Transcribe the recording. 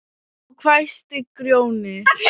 Þá hvæsti Grjóni: